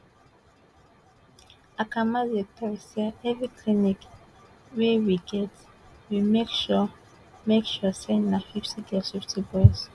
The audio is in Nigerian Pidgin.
akamanzi tok say evri clinic wey we get we make sure make sure say na 50 girls 50 boys